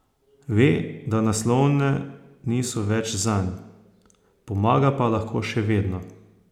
Ve, da naslovne niso več zanj, pomaga pa lahko še vedno.